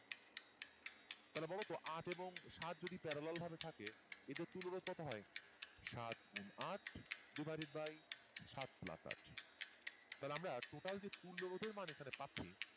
তাহলে বলতো আট এবং সাত যদি parallel ভাবে থাকে এদের তুল্য রোধ কত হয় সাত গুন আট divided by সাত plus আট তাহলে আমরা total যে তুল্য রোধের মান এখানে আমরা পাচ্ছি